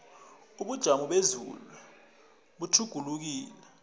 ubujamo bezulu butjhugulukile